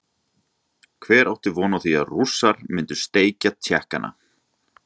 Hver átti von á því að Rússar myndu steikja Tékkana?